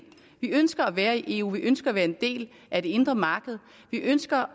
vi ønsker at være i eu vi ønsker at være en del af det indre marked vi ønsker